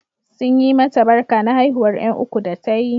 Sun yi mata barka na haihuwar ƴan uku da ta yi.